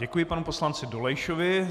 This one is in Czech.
Děkuji panu poslanci Dolejšovi.